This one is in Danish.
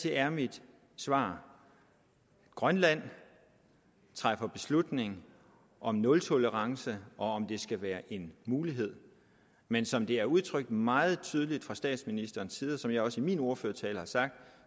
er mit svar grønland træffer beslutning om nultolerance og om det skal være en mulighed men som det er udtrykt meget tydeligt fra statsministerens side og som jeg også i min ordførertale har sagt